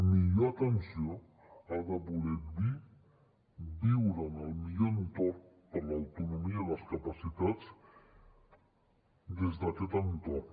millor atenció ha de voler dir viure en el millor entorn per a l’autonomia i les capacitats des d’aquest entorn